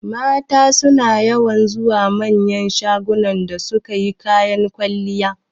Mata suna yawan zuwa manyan shagunan don su sayi kayan kwalliya